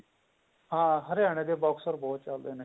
ਹਾਂ ਹਰਿਆਣੇ ਦੇ boxer ਬਹੁਤ ਜਿਆਦਾ ਨੇ